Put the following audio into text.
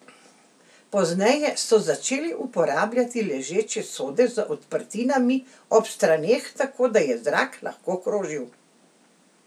Pozneje so začeli uporabljati ležeče sode z odprtinami ob straneh, tako da je zrak lahko krožil.